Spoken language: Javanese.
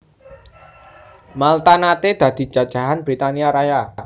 Malta naté dadi jajahan Britania Raya